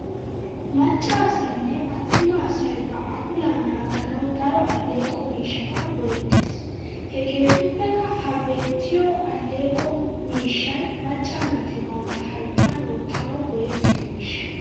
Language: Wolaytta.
Macca asaynne attuma asay ba apuulaa naaganawu daro alleeqo miishshata go'ettes. Hegeetuppekka ha beettiya alleeqo miishshay macca naati bantta hayittan wottanawu go'ettiyo miishsha.